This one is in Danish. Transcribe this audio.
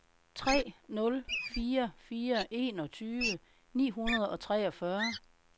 tre nul fire fire enogtyve ni hundrede og treogfyrre